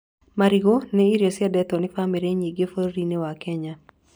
Marigũ nĩ irio ciendetwo nĩ bamĩrĩ nyingĩ bũrũri-inĩ wa Kenya.